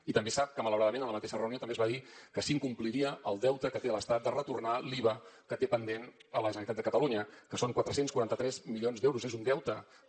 i també sap que malauradament en la mateixa reunió també es va dir que s’incompliria el deute que té l’estat de retornar l’iva que té pendent a la generalitat de catalunya que són quatre cents i quaranta tres milions d’euros és un deute que